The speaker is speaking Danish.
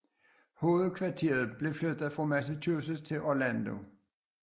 Hovedkvarteret blev flyttet fra Massachusetts til Orlando